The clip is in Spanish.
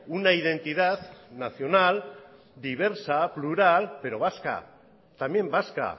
una identidad nacional diversa plural pero vasca también vasca